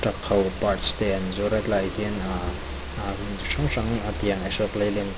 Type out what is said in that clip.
truck ho parts te an zuar a tlaiah hian hrang hrang tiang ahsok leyland --